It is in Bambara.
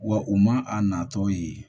Wa u ma a natɔ ye